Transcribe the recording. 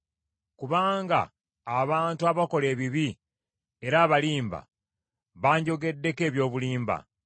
Kubanga abantu abakola ebibi era abalimba, banjogeddeko eby’obulimba.